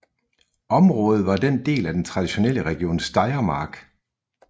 Området var del af den traditionelle region Steiermark